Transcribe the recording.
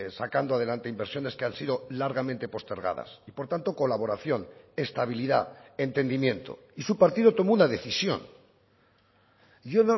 sacando adelante inversiones que han sido largamente postergadas y por tanto colaboración estabilidad entendimiento y su partido tomó una decisión yo